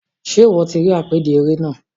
Ṣe iwọ ti apèdè eré náà?